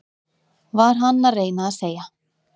Var hann að reyna að segja